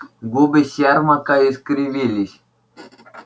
губы сермака искривились